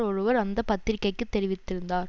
ஒருவர் அந்த பத்திரிகைக்குத் தெரிவித்திருந்தார்